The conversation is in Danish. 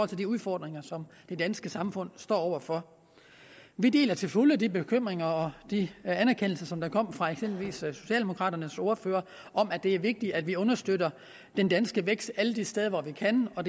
til de udfordringer som det danske samfund står over for vi deler til fulde de bekymringer og de anerkendelser som der kom fra eksempelvis socialdemokraternes ordfører om at det er vigtigt at vi understøtter den danske vækst alle de steder hvor vi kan og